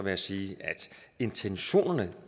jeg sige at intentionerne